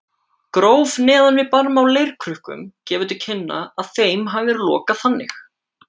Gróf neðan við barm á leirkrukkum gefur til kynna að þeim hafi verið lokað þannig.